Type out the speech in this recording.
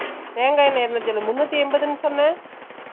தேங்கா என்னை இரணுத்தி எழுபதா முன்னுத்தி எம்பதுன்னு சொன்ன ?